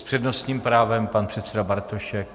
S přednostním právem pan předseda Bartošek.